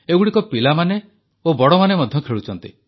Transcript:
ଏଗୁଡ଼ିକ ପିଲାମାନେ ଓ ବଡ଼ମାନେ ମଧ୍ୟ ଖେଳୁଛନ୍ତି